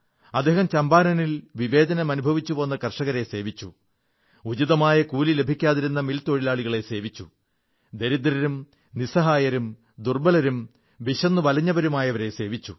അദ്ദേഹം ചമ്പാരനിൽ വിവേചനം അനുഭവിച്ചുപോന്ന ആ കർഷകരെ സേവിച്ചു ഉചിതമായ കൂലി ലഭിക്കാതിരുന്ന മിൽ തൊഴിലാളികളെ സേവിച്ചു ദരിദ്രരും നിസ്സഹായരും ദുർബ്ബലരും വിശന്നുവലഞ്ഞവരുമായവരെ സേവിച്ചു